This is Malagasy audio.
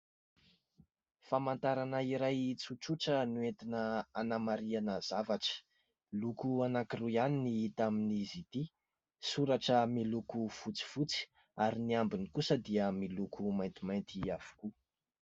Famantarana iray tsotsotra no entina hanamariana zavatra, loko anakiroa ihany no hita amin'izy ity, soratra miloko fotsifotsy ary ny ambiny kosa dia miloko maintimainty avokoa.